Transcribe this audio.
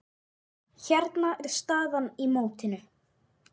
Hérna er staðan í mótinu.